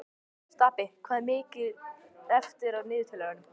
Stapi, hvað er mikið eftir af niðurteljaranum?